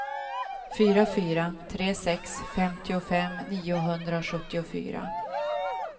fyra fyra tre sex femtiofem niohundrasjuttiofyra